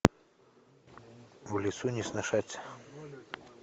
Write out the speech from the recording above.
в лесу не сношаться